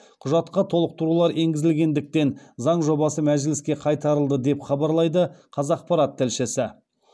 құжатқа толықтырулар енгізілгендіктен заң жобасы мәжіліске қайтарылды деп хабарлайды қазақпарат тілшісі